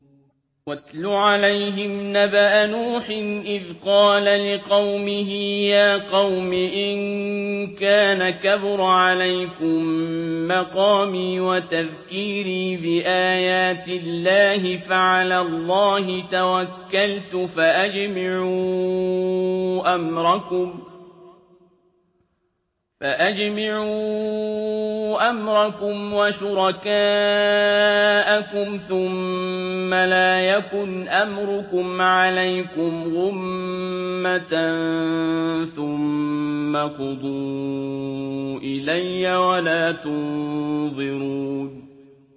۞ وَاتْلُ عَلَيْهِمْ نَبَأَ نُوحٍ إِذْ قَالَ لِقَوْمِهِ يَا قَوْمِ إِن كَانَ كَبُرَ عَلَيْكُم مَّقَامِي وَتَذْكِيرِي بِآيَاتِ اللَّهِ فَعَلَى اللَّهِ تَوَكَّلْتُ فَأَجْمِعُوا أَمْرَكُمْ وَشُرَكَاءَكُمْ ثُمَّ لَا يَكُنْ أَمْرُكُمْ عَلَيْكُمْ غُمَّةً ثُمَّ اقْضُوا إِلَيَّ وَلَا تُنظِرُونِ